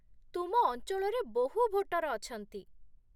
ତୁମ ଅଞ୍ଚଳରେ ବହୁ ଭୋଟର ଅଛନ୍ତି ।